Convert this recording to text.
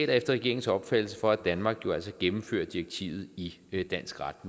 regeringens opfattelse for at danmark jo altså gennemfører direktivet i i dansk ret